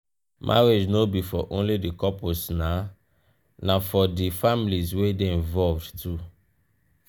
marriage no be for only di couples na for di families wey de involved too